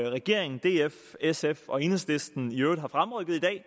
regeringen df sf og enhedslisten i øvrigt har fremrykket i dag